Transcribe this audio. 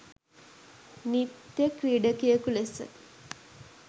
නිත්‍ය ක්‍රීඩකයකු ලෙස